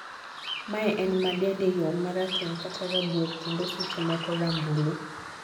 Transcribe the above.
mae en ma dende yom marateng kata rabuor kendo seche moko rambulu